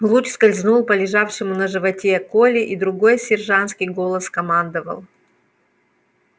луч скользнул по лежавшему на животе коле и другой сержантский голос скомандовал